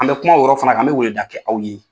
An bɛ kuma o yɔrɔ fana kan an bɛ weleweleda kɛ aw ye.